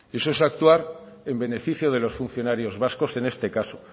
eso es actuar en beneficio de los funcionarios vascos en este caso